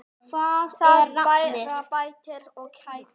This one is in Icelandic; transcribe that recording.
Það bara bætir og kætir.